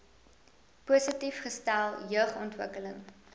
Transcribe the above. positief gestel jeugontwikkeling